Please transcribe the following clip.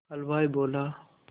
हलवाई बोला